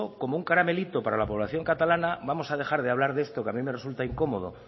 como un caramelito para la población catalana vamos a dejar de hablar de esto que a mí me resulta incomodo